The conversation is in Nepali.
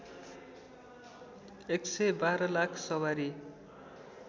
११२ लाख सवारी